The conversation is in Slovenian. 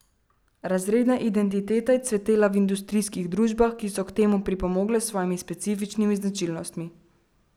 Razredna identiteta je cvetela v industrijskih družbah, ki so k temu pripomogle s svojimi specifičnimi značilnostmi.